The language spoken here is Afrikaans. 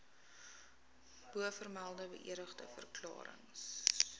bovermelde beëdigde verklarings